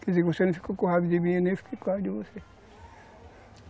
Quer dizer, você não ficou com raiva de mim e eu nem fico com raiva de você.